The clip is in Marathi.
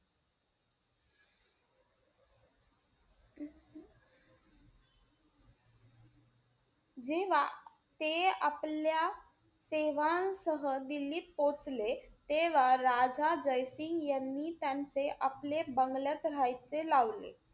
जेव्हा ते आपल्या सेवासह दिल्लीत पोचले, तेव्हा राजा जय सिंग यांनी, त्यांचे आपले बंगल्यात राहायचे लावले.